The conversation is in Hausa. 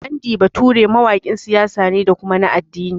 Andy Bature mawaƙin siyasa ne da kuma na addini